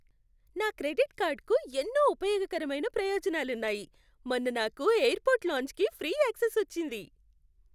నా క్రెడిట్ కార్డ్కు ఎన్నో ఉపయోగకరమైన ప్రయోజనాలున్నాయి. మొన్న నాకు ఎయిర్పోర్ట్ లాంజ్కి ఫ్రీ యాక్సెస్ వచ్చింది.